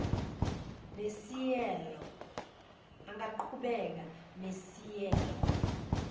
nesieelo angaqhubeka nesieelo